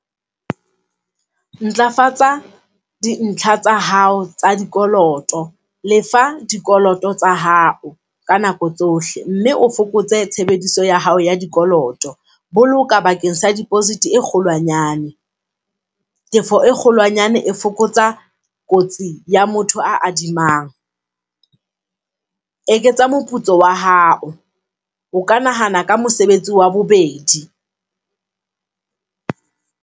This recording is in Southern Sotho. Ntlafatsa dintlha tsa hao tsa dikoloto lefa dikoloto tsa hao ka nako tsohle mme o fokotse tshebediso ya hao ya dikoloto. Boloka bakeng sa deposit e kgolwanyane, tefo e kgolwanyane e fokotsa kotsi ya motho a adimanang. Eketsa moputso wa hao o ka nahana ka mosebetsi wa bobedi.